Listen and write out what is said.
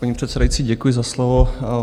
Paní předsedající, děkuji za slovo.